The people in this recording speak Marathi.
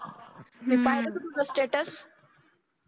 हम्म मी पाहाल ग तुझ स्टेटस